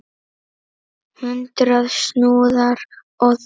Hundrað snúðar á þúsund!